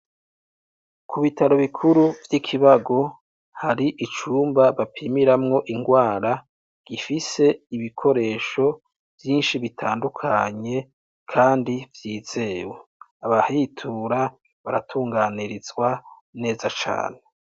ku bitaro bikuru vy'iKibago hari icumba bapimiramwo ingwara gifise ibikoresho vyinshi bitandukanye kandi vyizewe abahitura baratunganirizwa neza cane